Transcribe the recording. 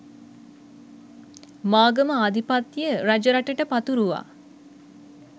මාගම ආධිපත්‍යය රජරටට පතුරුවා